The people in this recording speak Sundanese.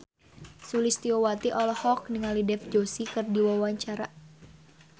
Sulistyowati olohok ningali Dev Joshi keur diwawancara